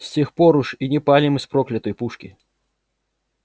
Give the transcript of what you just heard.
с тех пор уж и не палим из проклятой пушки